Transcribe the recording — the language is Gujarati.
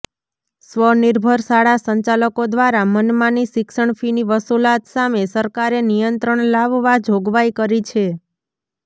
સ્વનિર્ભર શાળા સંચાલકો દ્વારા મનમાની શિક્ષણ ફીની વસુલાત સામે સરકારે નિયંત્રણ લાવવા જોગવાઇ કરી છે